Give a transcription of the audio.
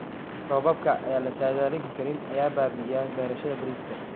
Roobabka aan la saadaalin karin ayaa baabi'iya beerashada bariiska.